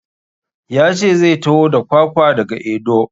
Ya ce zai taho da kwakwa da ga Edo.